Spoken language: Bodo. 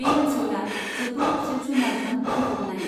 बे ओनसोला जोबोद जिब जुनारजों बुंफबनाय.